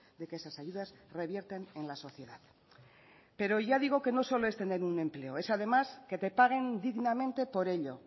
de que esas ayudas revierten en la sociedad pero ya digo que no solo es tener un empleo es además que te paguen dignamente por ello